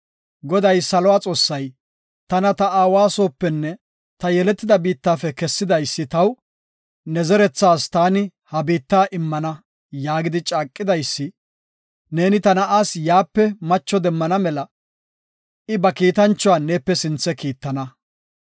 Goday, saluwa Xoossay, tana ta aawa soopenne ta yeletida biittafe kessidaysi taw, ‘Ne zerethas taani ha biitta immana’ yaagidi caaqidaysi, neeni ta na7aas yaape macho demmana mela, I ba kiitanchuwa neepe sinthe kiittana.